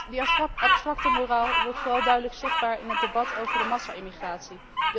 Deze abstracte moraal wordt vooral duidelijk zichtbaar in het debat over de massa immigratie.